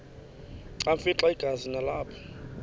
afimxa igazi nalapho